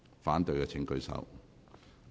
反對的請舉手。